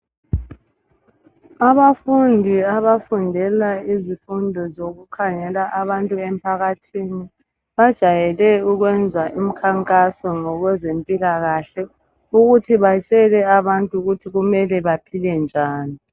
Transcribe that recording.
Abafundi abafundela izifundo zokukhangela abantu emphakathini bajayele ukwenza imkhankaso ngokwezempilakahle ukuthi batshele abantu ukuthi kumele baphile njani.